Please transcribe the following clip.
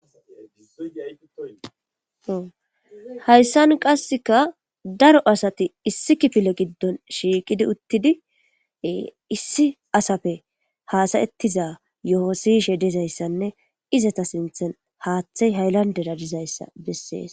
Haysan qaseka Daro asati issi kifile gidon shiiqidi utidi issi asappe hasa'etiza yoho siyishe dizaysanne izeta sinthani haatheyi hayilandera dizaysa beses.